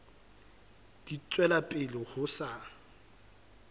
di tswela pele ho sa